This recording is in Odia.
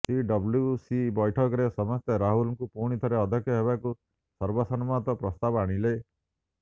ସିଡବ୍ଲ୍ୟୁସି ବ୘ଠକରେ ସମସ୍ତେ ରାହୁଲଙ୍କୁ ପୁଣିଥରେ ଅଧ୍ୟକ୍ଷ ହେବାକୁ ସର୍ବସମ୍ମତ ପ୍ରସ୍ତାବ ଆଣିଲେ